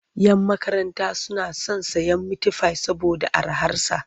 Yan makaranta suna son sayen mitifai saboda araharsa.